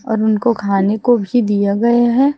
और उनको को खाने को भी दिया गया है।